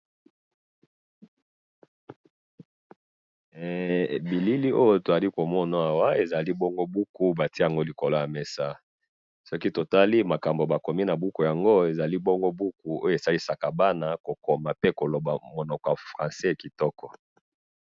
bilili oyo tozali komona awa, ezali bongo buku batie yango likolo ya mesa, soki totali makambo bakomi na buku yango, ezali bongo buku oyo esalisaka bana kokoma pe koloba monoko ya francais kitoko